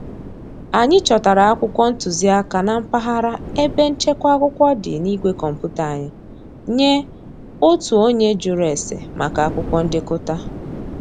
Anyị chọtara akwụkwọ ntụziaka na mpaghara ebe nchekwa akwụkwọ dị na igwe kọmputa anyị nye otu onye jụrụ ese maka akwụkwọ ndekọta